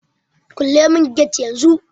Kule mun get yan zun